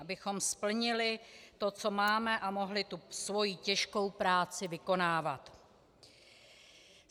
Abychom splnili to, co máme, a mohly tu svoji těžkou práci vykonávat.